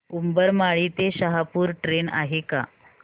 उंबरमाळी ते शहापूर ट्रेन आहे का